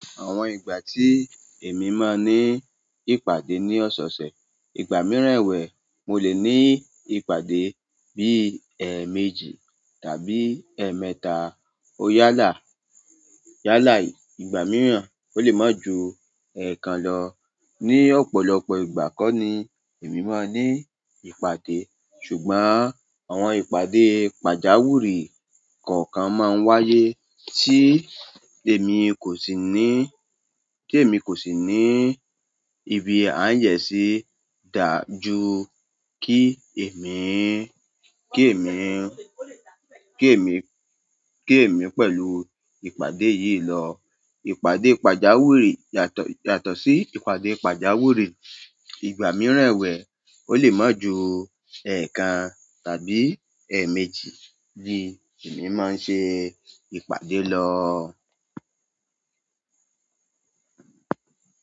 Àwọn ìgbà tí èmi máa ní ìpàdé ní ọ̀sẹ̀ẹ̀sẹ̀, ìgbà mìíràn ẹ̀wẹ̀ mo lè ní ìpàdé bí i ẹẹ̀ méjì tàbí ẹẹ̀ mẹ́ta. Ó yálà, yálà ìgbà mìíràn ó lè má ju ẹẹ̀kan lọ. Ni ọ̀pọ̀lọpọ̀ ìgbà kọ́ ni èmi máa ní ìpàdé. Ṣùgbọ́n àwọn ìpàdé pàjáwirì kọ̀ọ̀kan máa ń wáyé tí èmi kò sì ní, tí èmi kò sì ní ibi à ń yẹ̀sì dá ju kí èmi, kí èmi, kí èmi, kí èmi pẹ̀lú ìpàdé yìí lọ. Ìpàdé pàjáwirì yàtọ̀, yàtọ̀ sí ìpàdé pàjáwirì ìgbà mìíràn ẹ̀wẹ̀ ó lè má ju ẹẹ̀kan tàbí ẹẹ̀ méjì ni èmi máa ṣe ìpàdé lọ.